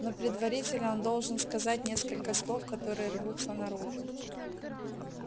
но предварительно он должен сказать несколько слов которые рвутся наружу